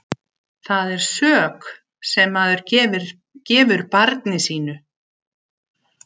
Það er sök sem maður gefur barni sínu.